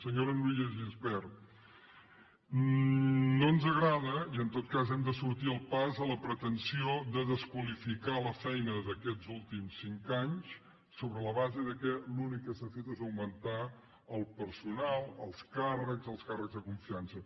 senyora núria de gispert no ens agrada i en tot cas hi hem de sortir al pas la pretensió de desqualificar la feina d’aquests últims cinc anys sobre la base que l’únic que s’ha fet és augmentar el personal els càrrecs els càrrecs de confiança